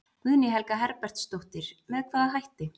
Guðný Helga Herbertsdóttir: Með hvaða hætti?